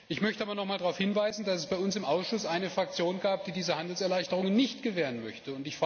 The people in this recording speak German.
Ich möchte aber nochmals darauf hinweisen, dass es bei uns im Ausschuss eine Fraktion gab, die diese Handelserleichterungen nicht gewähren möchte.